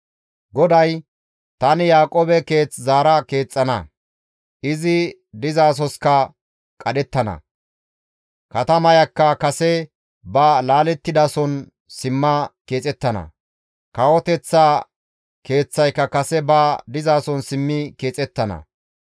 GODAY, «Tani Yaaqoobe keeth zaara keexxana; izi dizasoskka qadhettana; katamayakka kase ba laalettidason simma keexettana; kawoteththa keeththayka kase ba dizason simmi keexettana.